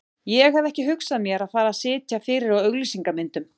Ég hef ekki hugsað mér að fara að sitja fyrir á auglýsingamyndum.